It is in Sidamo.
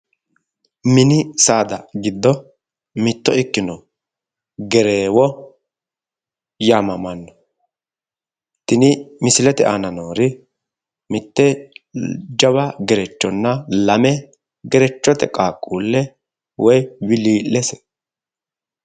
Mini saada giddo mitto ikkino gereewo yaamamanno. tini misilete aana noori mitte jawa gerechonna lame gerechote qaaqquulle woyi wilii'lese.